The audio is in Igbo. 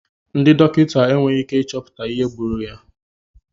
Ndị dọkịta enweghị ike ịchọpụta ihe gburu ya.